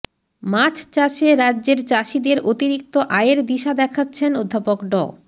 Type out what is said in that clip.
মাছ চাষে রাজ্যের চাষীদের অতিরিক্ত আয়ের দিশা দেখাচ্ছেন অধ্যাপক ড